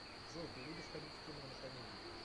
джой ты любишь ходить в кино на комедии